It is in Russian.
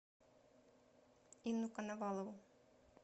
инну коновалову